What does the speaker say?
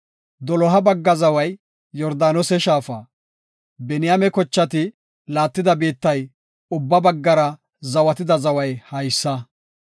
Doloha bagga zaway Yordaanose shaafa. Biniyaame kochati laattida biittay ubba baggara zawatida zaway haysa.